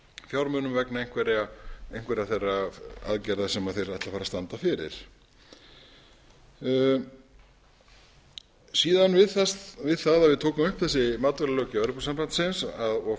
fjármunum vegna einhverra þeirra aðgerða sem þeir ætla að fara að standa fyrir við það að við tókum upp þessa matvælalöggjöf evrópusambandsins og